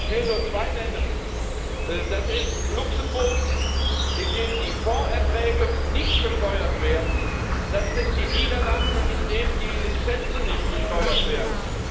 Ich will nur zwei nennen Das ist Luxemburg, wo die Fondserträge nicht besteuert werden, das sind die Niederlande, wo die Lizenzen nicht besteuert werden.